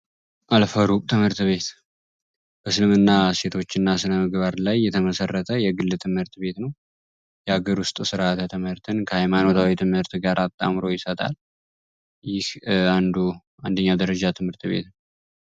አልፈሩብ ትምህርት ቤት በስልምና እሴቶች እና ስነምግባርድ ላይ የተመሰረተ የግል ትምህርት ቤት ነው። የአገር ውስጥ ሥርዓተ ትምህርትን ከሃይማኖታዊ ትምህርት ጋር አጣምሮ ይሰጣል። ይህ አንዱና አንደኛው ደረጃ ትምህርት ቤትም ነው።